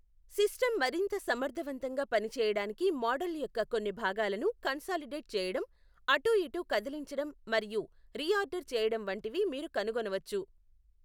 System మరింత సమర్థవంతంగా పని చేయడానికి మోడల్ యొక్క కొన్ని భాగాలను కన్సాలిడేట్ చేయడం, అటూఇటూ కదిలించడం మరియు రీఆర్డర్ చేయడం వంటివి మీరు కనుగొనవచ్చు.